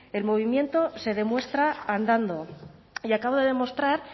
el movimiento se demuestra andando y acabo de demostrar